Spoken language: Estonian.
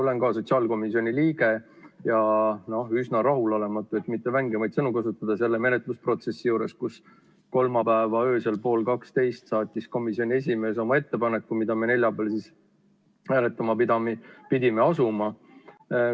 Olen ka ise sotsiaalkomisjoni liige ja üsna rahulolematu, et mitte vängemaid sõnu kasutada, selle menetlusprotsessiga, kus kolmapäeva öösel pool kaksteist saatis komisjoni esimees oma ettepaneku, mida me neljapäeval hääletama pidime asuma.